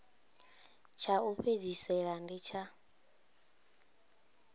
tsha u fhedzisela ndi tsha